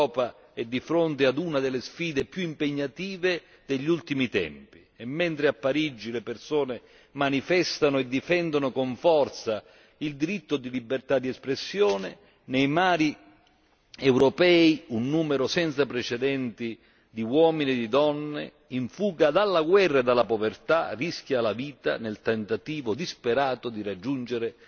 L'Europa è di fronte ad una delle sfide più impegnative degli ultimi tempi e mentre a Parigi le persone manifestano e difendono con forza il diritto di libertà di espressione, nei mari europei un numero senza precedenti di uomini e di donne in fuga dalla guerra e dalla povertà rischia la vita nel tentativo disperato di raggiungere